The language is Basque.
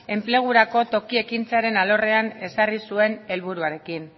enplegurako toki ekintzaren alorrean ezarri zuen helburuarekin